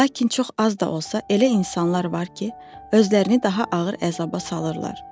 Lakin çox az da olsa elə insanlar var ki, özlərini daha ağır əzaba salırlar.